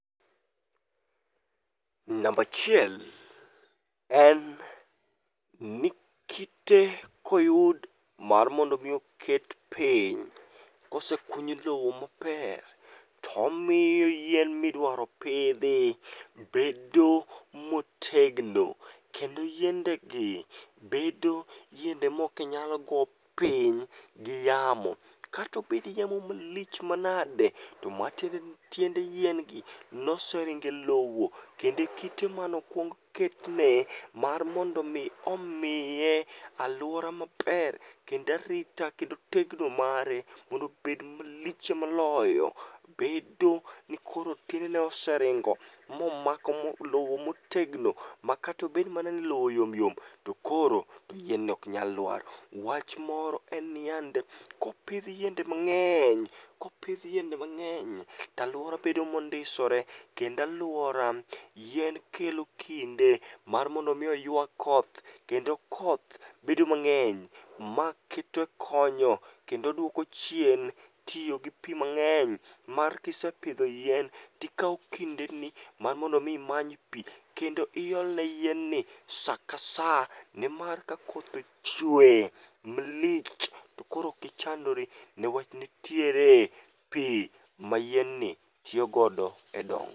Namba achiel en ni kite koyud mar mondo omi oket piny kosekuny lowo maber tomiyo yien midwaro pidhi bedo motegno kendo yiendegi bedo yiende mok nyal go piny gi yamo. Katobed yamo malich manade to matiendeni tiende yien gi noseringo e lowo kendo kite manokwong ketne mar mondo omiye alwora maber kendo arita kendo tegno mare mondo obed malich moloyo bedo ni koro tiendene oseringo momako lowo motegno makata obed mana ni lowo yom yom to koro yien ni ok nyal lwar. Wach moro en ni yande kopidh yiende mang'eny, kopidh yiende mang'eny to alwora bedo mondisore kendo alwora yien kelo kinde mar mondo omi oywa koth kendo koth bedo mang'eny ma kite konyo kendo duoko chien tiyo gi pi mang'eny mar kisepidho yien tikawo kindeni mar mondo omi many pi kendi iolne yienni saka sa mar ka koth ochwe malich to koro ok ichandri ne wach nitiere pi ma yienni tiyogodo e dongo.